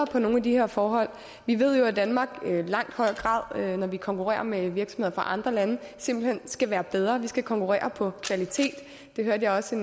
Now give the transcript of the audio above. for nogle af de her forhold vi ved jo at danmark når vi konkurrerer med virksomheder fra andre lande simpelt hen skal være bedre vi skal konkurrere på kvalitet det hørte jeg også